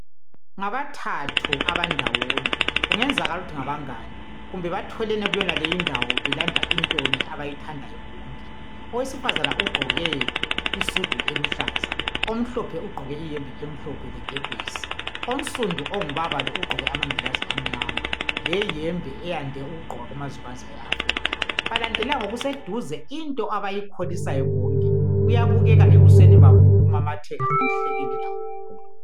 Ngabathathu abandawonye , kungenzakala ukuthi ngabangane kumbe batholene kule indawo belanda intonye abayithandayo bonke , owesifazane ugqoke isudu eluhlaza , omhlophe ugqoke iyembe emhlophe lekepesi , onsundu ongubaba lo ugqoke amangilazi amnyama leyembe eyande ukugqokwa kumazwe banzi awe Africa , balandelelana ngokuseduze ikhona into abayikholisayo bonke kuyabukekanebusweni babo ngokuhleka lokumamatheka okukhulu